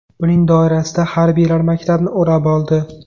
Uning doirasida harbiylar maktabni o‘rab oldi.